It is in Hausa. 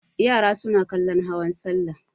Yara suna kallon hawan salla.